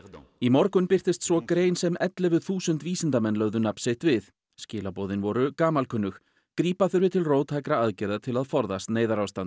í morgun birtist svo grein sem ellefu þúsund vísindamenn lögðu nafn sitt við skilaboðin voru gamalkunnug grípa þurfi til róttækra aðgerða til að forðast neyðarástand